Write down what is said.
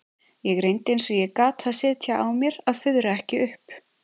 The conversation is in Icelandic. Ég reyndi eins og ég gat að sitja á mér að fuðra ekki upp.